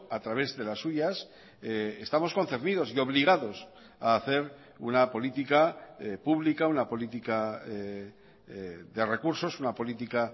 a través de las suyas estamos concernidos y obligados a hacer una política pública una política de recursos una política